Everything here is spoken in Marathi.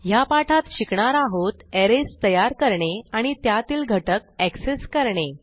ह्या पाठात शिकणार आहोत अरेज तयार करणे आणि त्यातील घटक एक्सेस करणे